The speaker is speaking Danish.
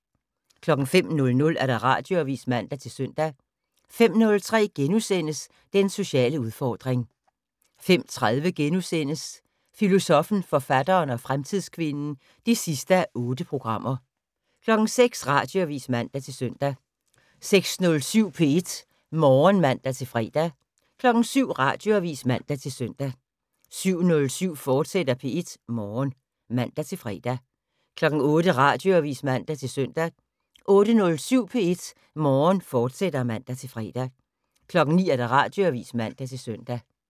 05:00: Radioavis (man-søn) 05:03: Den sociale udfordring * 05:30: Filosoffen, forfatteren og fremtidskvinden (8:8)* 06:00: Radioavis (man-søn) 06:07: P1 Morgen (man-fre) 07:00: Radioavis (man-søn) 07:07: P1 Morgen, fortsat (man-fre) 08:00: Radioavis (man-søn) 08:07: P1 Morgen, fortsat (man-fre) 09:00: Radioavis (man-søn)